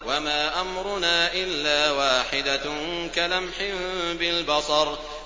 وَمَا أَمْرُنَا إِلَّا وَاحِدَةٌ كَلَمْحٍ بِالْبَصَرِ